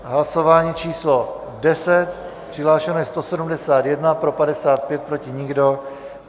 Hlasování číslo 10, přihlášeno je 171, pro 55, proti nikdo.